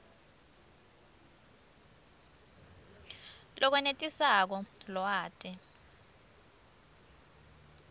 lokwenetisako lwati